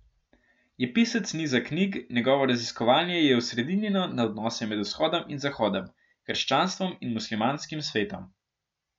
Je pisec niza knjig, njegovo raziskovanje je osredinjeno na odnose med Vzhodom in Zahodom, krščanstvom in muslimanskim svetom.